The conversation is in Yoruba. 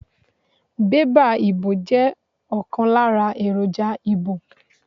Bébà ìbò jẹ́ ọ̀kan lára èròjà ìbò.